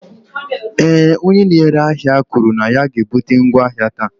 ee, onye na-ere ahịa kwuru na ya ga-ebute ngwa ahịa taa